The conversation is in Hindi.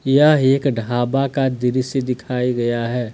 यह एक ढाबा का दृश्य दिखाये गया हैं।